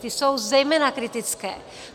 Ta jsou zejména kritická.